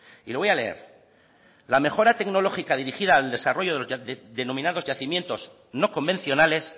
y lo voy a leer la mejora tecnológica dirigida al desarrollo de los ya denominados yacimientos no convencionales